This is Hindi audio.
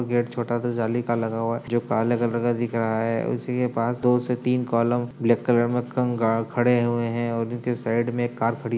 गेट छोटा सा जाली का लगा हुआ है जो काले कलर का दिख रहा है। उसी के पास दो से तीन कॉलम ब्लैक कलर में कंगा खड़े हुए हैं और साईड एक कार खड़ी --